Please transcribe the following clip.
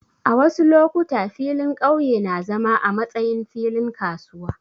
A wasu lokuta, filin ƙauye na zama a matsayin filin kasuwa.